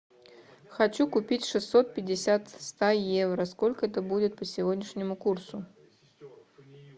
хочу купить шестьсот пятьдесят ста евро сколько это будет по сегодняшнему курсу